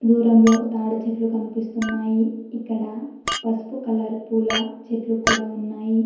దురంలో తాడి చెట్లు కనిపిస్తున్నాయి ఇక్కడ పసుపు కలర్ పూల చెట్లు కూడా ఉన్నాయి.